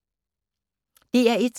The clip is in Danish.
DR1